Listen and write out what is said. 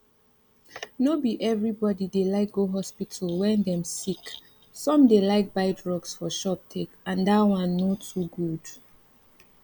no be everybody dey like go hospital wen dem sick some dey like buy drugs for shop take and that one no too good